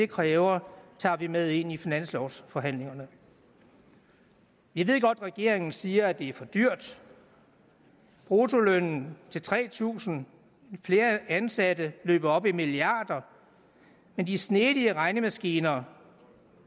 kræver tager vi med ind i finanslovsforhandlingerne vi ved godt regeringen siger at det er for dyrt bruttolønnen til tre tusind flere ansatte løber op i milliarder men de snedige regnemaskiner